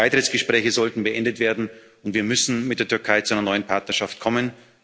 Die Beitrittsgespräche sollten beendet werden, und wir müssen mit der Türkei zur einer neuen Partnerschaft kommen.